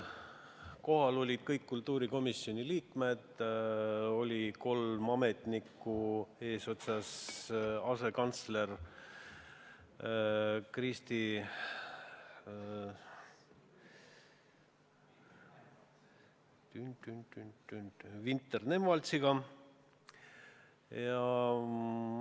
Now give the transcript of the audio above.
Kohal olid kõik kultuurikomisjoni liikmed ja kolm ametnikku eesotsas asekantsler Kristi Vinter-Nemvaltsiga.